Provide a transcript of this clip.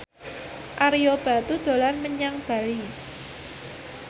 Ario Batu dolan menyang Bali